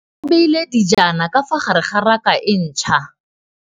Mmê o beile dijana ka fa gare ga raka e ntšha.